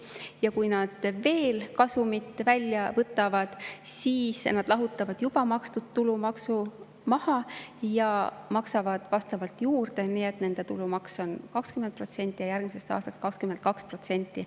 Ja kui nad kasumit välja võtavad, siis nad lahutavad juba makstud tulumaksu maha ja maksavad vastavalt juurde, nii et nende tulumaks on 20% ja järgmisest aastast 22%.